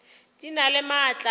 di na le maatla a